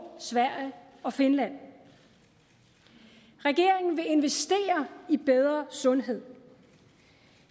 sverige og finland regeringen vil investere i bedre sundhed